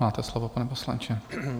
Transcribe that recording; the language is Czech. Máte slovo, pane poslanče.